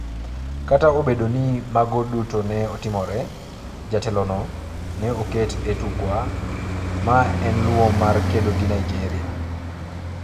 Kata obedo ni mago duto ne otimore, jatelono ne oket e tukwa ma ne luwo mar kedo gi Nigeria.